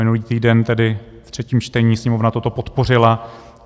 Minulý týden tedy v třetím čtení Sněmovna toto podpořila.